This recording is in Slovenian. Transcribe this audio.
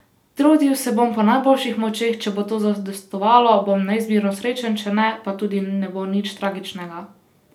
Trudil se bom po najboljših močeh, če bo to zadostovalo, bom neizmerno srečen, če ne, pa tudi ne bo nič tragičnega.